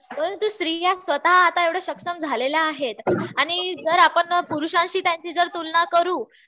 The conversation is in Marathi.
परंतु स्त्रिया स्वतः आता एवढ्या सक्षम झालेल्या आहेत. आणि जर आपण पुरुषांशी त्यांची तुलना करू